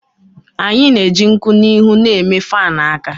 Anyị na-eji nkwụ n'ihu na-eme fan aka